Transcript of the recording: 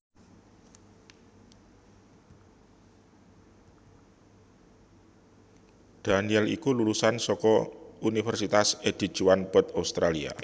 Daniel iku lulusan saka Univèrsitas Edith Cowan Perth Australia